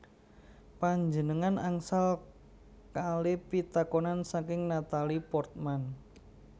Panjenengan angsal kale pitakonan saking Natalie Portman